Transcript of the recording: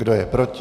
Kdo je proti?